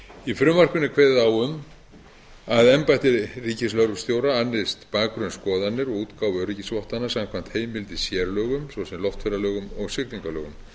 í frumvarpinu er kveðið á um að embætti ríkislögreglustjóra annist bakgrunnsskoðanir og útgáfu öryggisvottana samkvæmt heimild í sérlögum svo sem loftferðalögum og siglingalögum